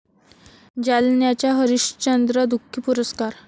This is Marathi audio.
जालन्याचा हरिश्चंद्र दुखी पुरस्कार